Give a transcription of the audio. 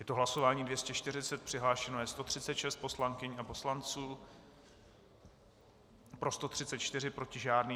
Je to hlasování 240, přihlášeno je 136 poslankyň a poslanců, pro 134, proti žádný.